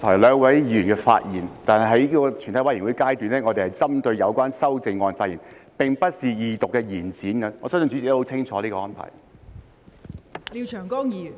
關於剛才兩位議員的發言，在全體委員會審議階段，我們是針對修正案發言，並不是二讀辯論的延展，我相信代理主席也很清楚這個安排。